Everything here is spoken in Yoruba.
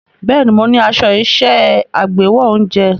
Bẹ́ẹ̀ni, mo ní aṣọ iṣẹ́ agbáwo oúnjẹ.